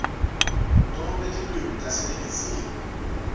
tonkhe tilwimi taseningizimu